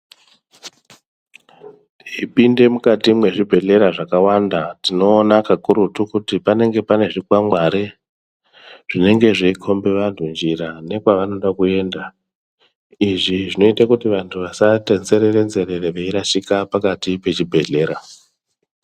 Tipinde mukati mwezvibhedhleya zvakawanda tinoona kakurutu kti panenge paine zvikwangwari zvinenge zveikhombe vanhu njira nekwavanode kuyenda izvi zvinoite kuti vantu vasati nzerere nzerere veirashika pakati pechibhedhlera.